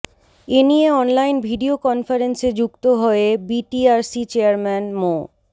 এ নিয়ে online video কনফারেন্সে যুক্ত হয়ে বিটিআরসি চেয়ারম্যান মো